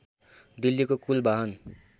दिल्लीको कुल बाहन